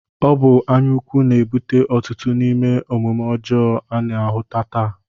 Ọ bụ anya ukwu na-ebute ọtụtụ n'ime omume ọjọọ a na-ahụta taa